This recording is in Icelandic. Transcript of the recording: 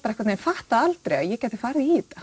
einhvern veginn fattaði aldrei að ég gæti farið í þetta